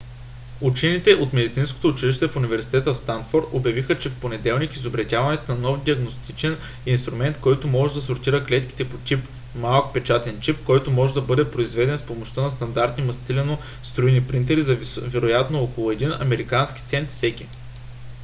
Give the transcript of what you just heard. учените от медицинското училище в университета в станфод обявиха в понеделник изобретяването на нов диагностичен инструмент който може да сортира клетките по тип: малък печатен чип който може да бъде произведен с помощта на стандартни мастилено-струйни принтери за вероятно около един американски цент всеки